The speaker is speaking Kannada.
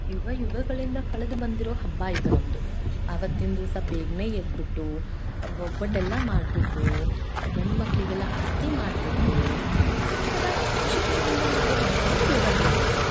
ಯುಗ ಯುಗ ಗಳಿಂದ ಕಳೆದು ಬಂದಿರೋ ಹಬ್ಬ ಇದು ನಮ್ಮದು ಆವತ್ತಿನ ದಿವಸ ಬೇಗನೆ ಎದ್ದು ಒಬ್ಬಟ್ಟೆಲ್ಲಾ ಮಾಡ್ಬಿಟ್ಟು ಗಂಡುಮಕ್ಕಳಿಗೆಲ್ಲಾ ಆರ್ತಿ ಮಾಡ್ಬಿಟ್ಟು ಒಂತರಾ ಖುಷಿ ಖುಷಿಯಿಂದ ಮಾಡು ಹಬ್ಬನು ಯುಗಾದಿ ಹಬ್ಬ.